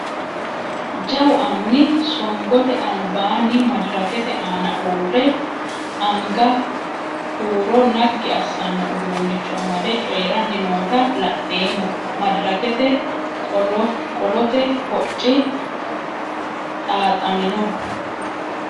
Jawwu anni soniggote alibbani maddirrakkete aanna uure anigga huuro naggi assanno uddunnicho amadde cooyirani nootta la'nnemo maddirrakkete qolotte hocci xaaxammino